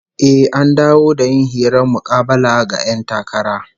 Eh, an dawo da yin hirar mukabala ga 'yan takara